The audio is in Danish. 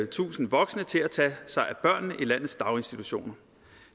tusinde voksne til at tage sig af børnene i landets daginstitutioner